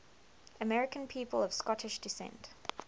american people of scottish descent